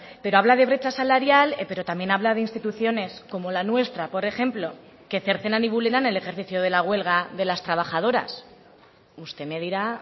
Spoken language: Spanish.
pero habla de brecha salarial pero también habla de instituciones como la nuestra por ejemplo que cercenan y vulneran el ejercicio de la huelga de las trabajadoras usted me dirá